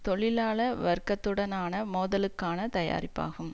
தொழிலாள வர்க்கத்துடனான மோதலுக்கான தயாரிப்பாகும்